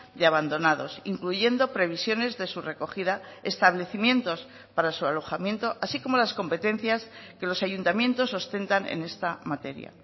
de abandonados incluyendo previsiones de su recogida establecimientos para su alojamiento así como las competencias que los ayuntamientos ostentan en esta materia